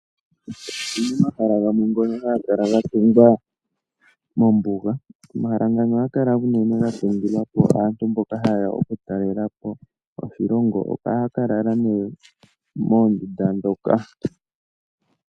Opuna omhala gamwe ngoka haga kala ga tungwa mombuga. Omahala ngano ohaga kala unene ga tungilwa po aantu mboka ha yeya okutalela po oshilongo, ohaya ka lala nee moondunda dhoka.